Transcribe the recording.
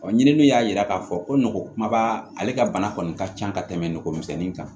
ɲininiw y'a yira k'a fɔ ko nogo kumaba ale ka bana kɔni ka ca ka tɛmɛ nɔgɔmisɛnin kan